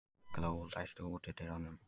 Gló, læstu útidyrunum.